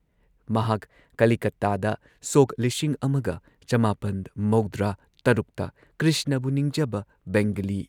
ꯃꯍꯥꯛ ꯀꯂꯤꯀꯇꯥꯗ ꯁꯣꯛ ꯱꯹꯹꯶ ꯇ ꯀ꯭ꯔꯤꯁꯅꯕꯨ ꯅꯤꯡꯖꯕ ꯕꯦꯡꯒꯂꯤ